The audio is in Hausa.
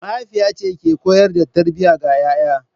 Mahaifiya ce ke koyar da tarbiyya ga 'ya'ya.